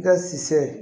Ka si se